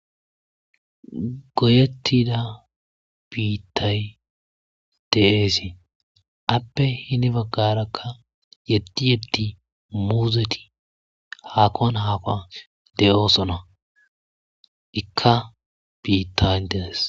goyettida biittay teeesi appe hini baggarakka yeddi yeddi muuzeti haakkon haaqo de7oosona ikka biitta interes